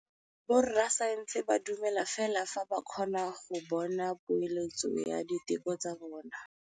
Borra saense ba dumela fela fa ba kgonne go bona poeletsô ya diteko tsa bone.